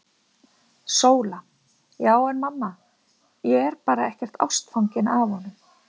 SÓLA: Já en mamma, ég er bara ekkert ástfangin af honum!!